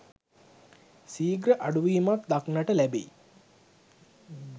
සීඝ්‍ර අඩුවීමක් දක්නට ලැබෙයි.